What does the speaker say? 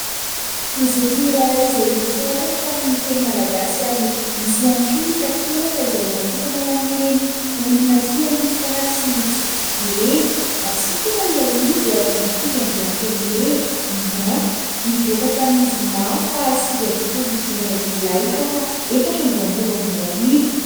Gazety iray izay nosoratana tamin'ny teny malagasy, ary nisy ihany koa ny takelaka izay natokana ho an'ireny olona tia mifaly sy mitsikitsiky ireny. Hatsikana ilay izy ary mitondra ny lohateny hoe "Ngah", nivoaka tamin'ny zoma faha sivy ambin'ny folon'ny volana Jolay, taona efatra amby roapolo amby roa arivo.